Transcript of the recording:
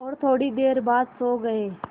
और थोड़ी देर बाद सो गए